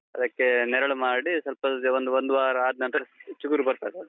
ಅದಕ್ಕೆ ನೆರಳು ಮಾಡಿ, ಸ್ವಲ್ಪ ಒಂದು, ಒಂದ್ವಾರ ಆದ್ನಂತ್ರ ಚಿಗುರು ಬರ್ತದೆ ಅದು.